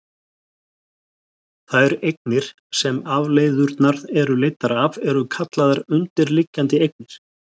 Þær eignir sem afleiðurnar eru leiddar af eru kallaðar undirliggjandi eignir.